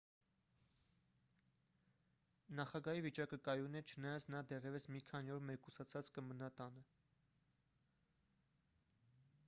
նախագահի վիճակը կայուն է չնայած նա դեռևս մի քանի օր մեկուսացած կմնա տանը